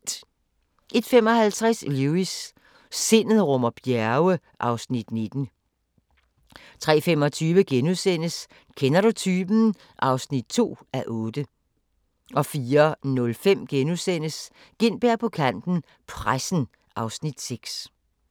01:55: Lewis: Sindet rummer bjerge (Afs. 19) 03:25: Kender du typen? (2:8)* 04:05: Gintberg på kanten - Pressen (Afs. 6)*